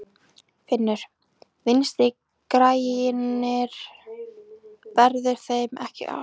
Finnur: Vinstri-grænir, gerðu þeir ekki grein fyrir sínum skoðunum?